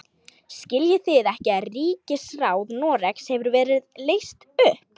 Skiljið þið ekki að ríkisráð Noregs hefur verið leyst upp!